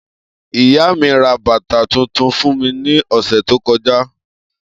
Iya mi ra bata tuntun fun mi ni ọsẹ to kọja.